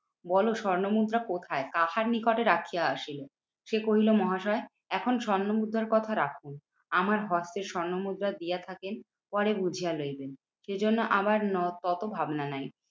বলো স্বর্ণমুদ্রা কোথায়? কাহার নিকটে রাখিয়া আসিলে? সে কহিলো মহাশয়, এখন স্বর্ণমুদ্রার কথা রাখুন। আমার হস্তে স্বর্ণমুদ্রা দিয়া থাকেন, পরে বুঝিয়া লইবেন। সে জন্য আমার তত ভাবনা নাই।